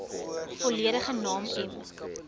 volledige naam m